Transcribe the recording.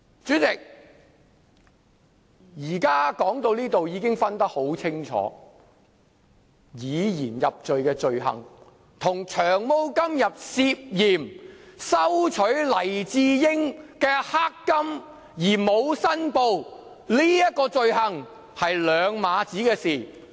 主席，說到這裏，現在已能分辨清楚，以言入罪的罪行，與"長毛"今天涉嫌收取黎智英"黑金"而沒有申報的這種罪行是兩碼子的事。